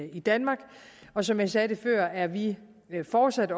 i danmark og som jeg sagde det før er vi fortsat